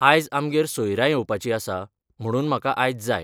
आयज आमगेर सोयऱ्या येवपाची आसा म्हणून म्हाका आयज जाय